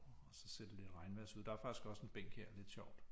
Og så ser det lidt regnvejrs ud der er faktisk også en bænk her lidt sjovt